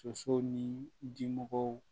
Sosow ni dimɔgɔw